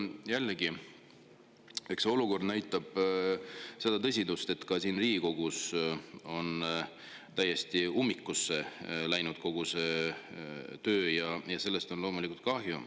Jällegi, eks olukord ole tõsine, siin Riigikogus on täiesti ummikusse kogu töö, ja sellest on loomulikult kahju.